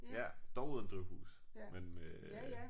Ja dog uden drivhus men øh